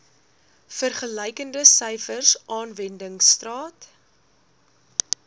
vergelykende syfers aanwendingstaat